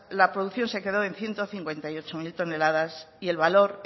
la producción se quedó en ciento cincuenta y ocho mil toneladas y el valor